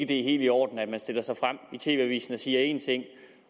det er helt i orden at man stiller sig frem i tv avisen og siger én ting